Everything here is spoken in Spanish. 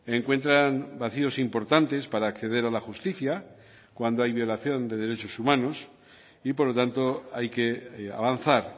encuentran vacíos importantes para acceder a la justicia cuando hay violación de derechos humanos y por lo tanto hay que avanzar